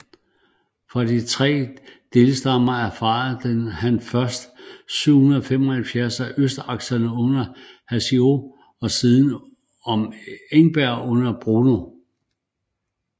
Fra de tre delstammer erfarede han første gang 775 om østsakserne under Hassio og siden om Engern under Bruno